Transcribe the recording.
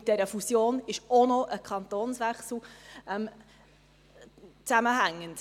Mit dieser Fusion hängt auch ein Kantonswechsel zusammen.